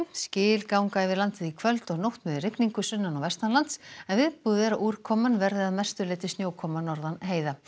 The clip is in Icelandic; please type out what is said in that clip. skil ganga yfir landið í kvöld og nótt með rigningu sunnan og en viðbúið er að úrkoman verði að mestu leyti snjókoma norðan heiða